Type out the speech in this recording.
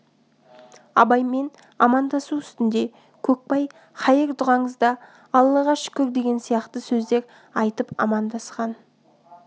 абаймен амандасу үстінде көкбай хайыр дұғаңызда аллаға шүкір деген сияқты сөздер айтып амандасқан